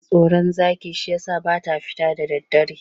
Tana tsoron zaki shi ya sa ba ta fita da daddare.